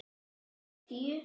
Dagar tíu